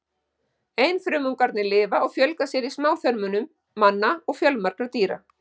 Einfrumungarnir lifa og fjölga sér í smáþörmum manna og fjölmargra dýra.